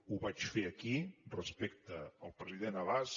ho vaig fer aquí respecte al president abbas